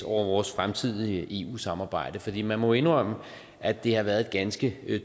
over vores fremtidige eu samarbejde for man må jo indrømme at det har været et ganske